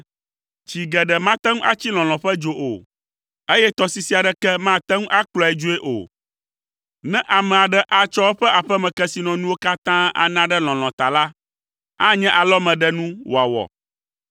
Tsi geɖe mate ŋu atsi lɔlɔ̃ ƒe dzo o, eye tɔsisi aɖeke mate ŋu akplɔe dzoe o. Ne ame aɖe atsɔ eƒe aƒemekesinɔnuwo katã ana ɖe lɔlɔ̃ ta la, anye alɔmeɖenu wòawɔ.